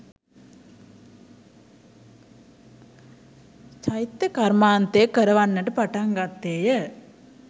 චෛත්‍ය කර්මාන්තය කරවන්නට පටන් ගත්තේ ය.